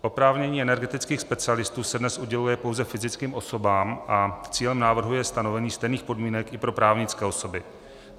Oprávnění energetických specialistů se dnes uděluje pouze fyzickým osobám a cílem návrhu je stanovení stejných podmínek i pro právnické osoby.